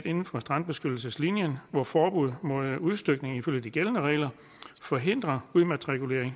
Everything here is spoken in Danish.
inden for strandbeskyttelseslinjen hvor forbud mod udstykning ifølge de gældende regler forhindrer udmatrikulering